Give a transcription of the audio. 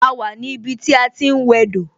A wà ní ibi tí a ti ń wẹ dò